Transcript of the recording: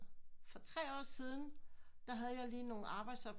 For tre år siden der havde jeg lige nogen arbejdsopgaver